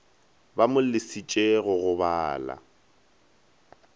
ba mo lesitše go gobala